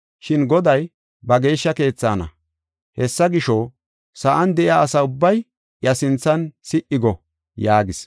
“Shin Goday ba geeshsha keethaana. Hessa gisho, sa7an de7iya asa ubbay iya sinthan si77i go” yaagis.